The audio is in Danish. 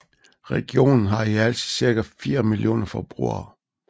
Regionen har i alt cirka fire millioner forbrugere